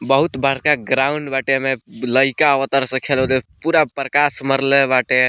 बहुत बड़का ग्राउंड बाटे एमें लइका आवतार सन खेले ओदे पूरा प्रकाश मारले बाटे।